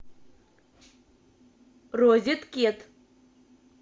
розеткед